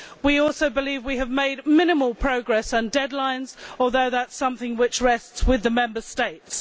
We also believe we have made minimal progress on deadlines although that is something that rests with the Member States.